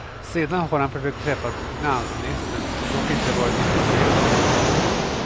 Sedan har han försökt träffa finansministern, som dock inte varit intresserad av något möte.